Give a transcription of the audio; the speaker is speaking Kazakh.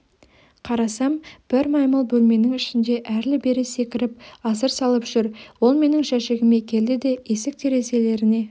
қарасам бір маймыл бөлменің ішінде әрлі-берлі секіріп асыр салып жүр ол менің жәшігіме келді де есік-терезелеріне